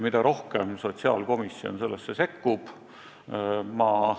Mida rohkem sotsiaalkomisjon sellesse sekkub, seda parem.